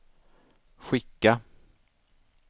skicka